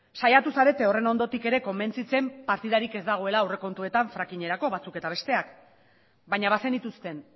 saiatu zarete horren ondorik ere konbentzitzen partidarik ez dagoela aurrekontuetan frakingerako batzuk eta besteak baina bazenituzten